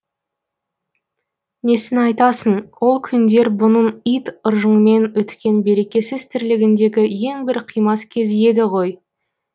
несін айтасың ол күндер бұның ит ыржыңмен өткен берекесіз тірлігіндегі ең бір қимас кез еді ғой